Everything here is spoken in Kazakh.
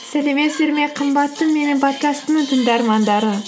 сәлеметсіздер ме қымбатты менің подкастымның тыңдармандары